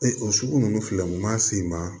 Ee o sugu ninnu filɛ nin ma s'i ma